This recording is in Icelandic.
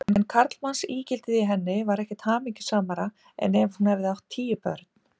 En karlmannsígildið í henni var ekkert hamingjusamara en ef hún hefði átt tíu börn.